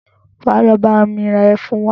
Wá lọ bá mi ra Ẹfun wa